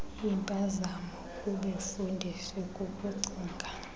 impazamo kubefundisi kukucinga